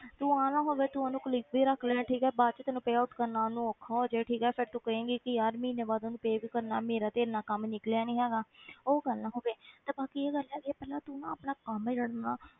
ਤੂੰ ਆਹ ਨਾ ਹੋਵੇ ਤੂੰ ਉਹਨੂੰ colleague ਵੀ ਰੱਖ ਲਏ ਠੀਕ ਹੈ ਬਾਅਦ ਚੋਂ ਤੈਨੂੰ payout ਕਰਨਾ ਉਹਨੂੰ ਔਖਾ ਹੋ ਜਾਏ ਠੀਕ ਹੈ ਫਿਰ ਤੂੰ ਕਹੇਂਗੀ ਕਿ ਯਾਰ ਮਹੀਨੇ ਬਾਅਦ ਉਹਨੂੰ pay ਵੀ ਕਰਨਾ ਮੇਰਾ ਤੇ ਇੰਨਾ ਕੰਮ ਨਿਕਲਿਆ ਨੀ ਹੈਗਾ ਉਹ ਗੱਲ ਨਾ ਹੋਵੇ ਤੇ ਬਾਕੀ ਇਹ ਗੱਲ ਹੈਗੀ ਹੈ ਪਹਿਲਾਂ ਤੂੰ ਨਾ ਆਪਣਾ ਕੰਮ ਜਿਹੜਾ ਨਾ,